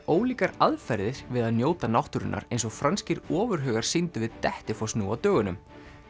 ólíkar aðferðir við að njóta náttúrunnar eins og franskir ofurhugar sýndu við Dettifoss nú á dögunum